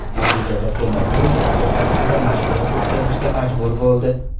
Natijada Semedu yakka tartibda mashg‘ulot o‘tkazishga majbur bo‘ldi.